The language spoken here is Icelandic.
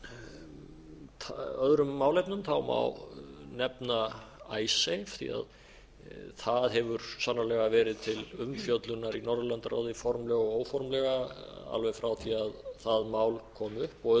af öðrum málefnum má nefna icesave því að það hefur sannarlega verið til umfjöllunar í norðurlandaráði formlega og óformlega alveg frá því að það mál kom upp og